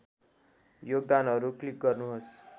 योगदानहरू क्लिक गर्नुहोस्